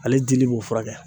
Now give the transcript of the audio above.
Ale dili b'o furakɛ